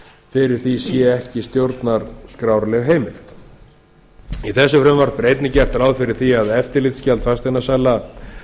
fyrir því sé ekki stjórnarskrárleg heimild í þessu frumvarpi er einnig gert ráð fyrir því að eftirlitsgjald fasteignasala